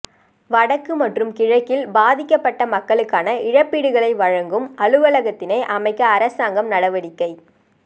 வடக்கு மற்றும் கிழக்கில் பாதிக்கப்பட்ட மக்களுக்கான இழப்பீடுகளை வழங்கும் அலுவலகத்தினை அமைக்க அரசாங்கம் நடவடிக்கை